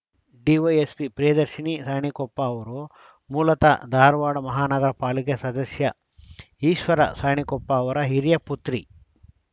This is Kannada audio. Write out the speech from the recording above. ಡಿವೈಎಸ್ಪಿ ಪ್ರಿಯದರ್ಶಿನಿ ಸಾಣಿಕೊಪ್ಪ ಅವರು ಮೂಲತಃ ಧಾರವಾಡ ಮಹಾನಗರ ಪಾಲಿಕೆ ಸದಸ್ಯ ಈಶ್ವರ ಸಾಣಿಕೊಪ್ಪ ಅವರ ಹಿರಿಯ ಪುತ್ರಿ